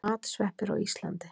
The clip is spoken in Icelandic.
Matsveppir á Íslandi.